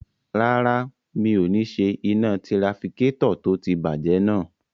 Rárá, mi ò ní ṣe iná tirafikétọ̀ tó ti bàjẹ́ náà